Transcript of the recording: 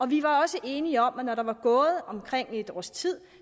vi var også enige om at når der var gået omkring et års tid